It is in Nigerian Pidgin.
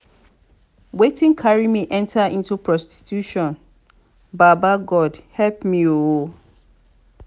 wetin carry me enter into prostitution baba god help me ooo